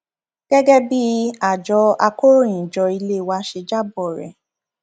gẹgẹ bí àjọ akọròyìnjọ ilé wa ṣe jábọ rẹ